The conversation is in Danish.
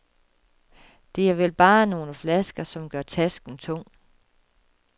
Det er vel bare nogle flasker, som gør tasken tung.